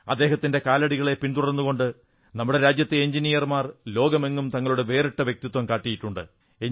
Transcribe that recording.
അദ്ദേഹത്തിന്റെ കാലടികളെ പിന്തുടർന്നുകൊണ്ട് നമ്മുടെ രാജ്യത്തെ എഞ്ചിനീയർമാർ ലോകമെങ്ങും തങ്ങളുടെ വേറിട്ട വ്യക്തിത്വം കാട്ടിയിട്ടുണ്ട്